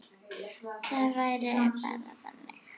Það væri bara þannig.